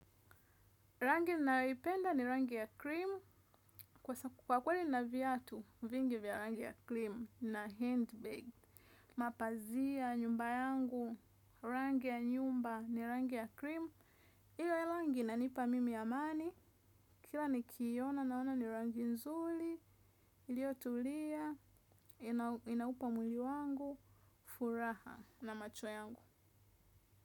Rangi ninayoipenda ni rangi ya cream, kwa kweli nina viatu, vingi vya rangi ya cream na handbag, mapazia nyumba yangu, rangi ya nyumba ni rangi ya cream, iyo langi inanipa mimi amani, kila nikiiona naona ni rangi nzuli, ilio tulia, inaupa mwili wangu furaha na macho yangu.